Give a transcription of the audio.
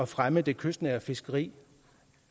fremme det kystnære fiskeri